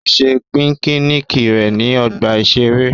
Ó ṣe píkíníkì rẹ̀ ní ọgbà-ìṣeré